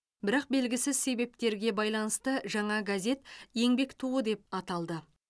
бірақ белгісіз себептерге байланысты жаңа газет еңбек туы деп ата лды